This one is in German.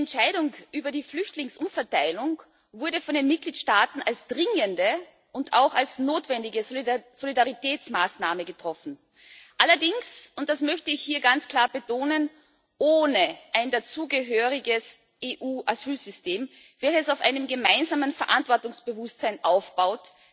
Die Entscheidung über die Flüchtlingsumverteilung wurde von den Mitgliedstaaten als dringende und auch notwendige Solidaritätsmaßnahme getroffen. Allerdings und das möchte ich hier ganz klar betonen ohne ein dazugehöriges EU Asylsystem, welches auf einem gemeinsamen Verantwortungsbewusstsein aufbaut.